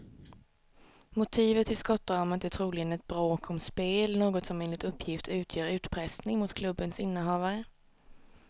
Motivet till skottdramat är troligen ett bråk om spel, något som enligt uppgift utgör utpressning mot klubbens innehavare.